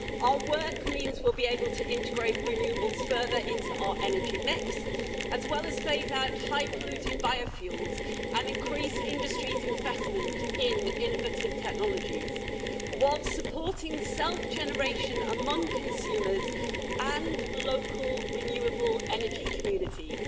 Our work means we'll be able to integrate renewables further into our energy mix as well as phase out high polluting biofuels and increase industry's investment in innovative technologies while supporting self generation among consumers and local renewable energy communities.